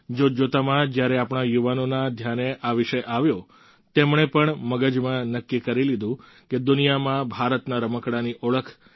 જોતજોતામાં જ્યારે આપણા યુવાનોના ધ્યાને આ વિષય આવ્યો તેમણે પણ મગજમાં નક્કી કરી લીધું કે દુનિયામાં ભારતના રમકડાંની ઓળખ